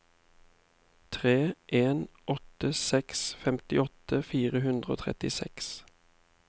tre en åtte seks femtiåtte fire hundre og trettiseks